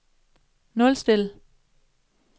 nulstil